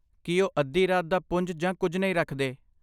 ਕੀ ਉਹ ਅੱਧੀ ਰਾਤ ਦਾ ਪੁੰਜ ਜਾਂ ਕੁਝ ਨਹੀਂ ਰੱਖਦੇ?